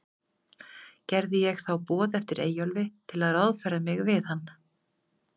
Gerði ég þá boð eftir Eyjólfi, til að ráðfæra mig við hann.